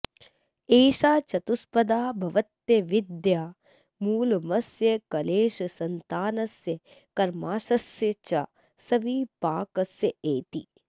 एषा चतुष्पदा भवत्यविद्या मूलमस्य क्लेशसन्तानस्य कर्माशयस्य च सविपाकस्येति